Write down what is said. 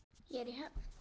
Ég er í höfn.